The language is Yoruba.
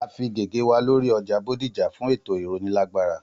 A fí gègé wa lóri ọjà Bódìjà fún ètò ìrónilágbára